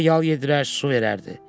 Ona yal yedirər, su verərdi.